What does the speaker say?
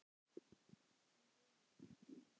Líf um eilífð.